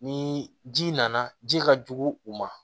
Ni ji nana ji ka jugu u ma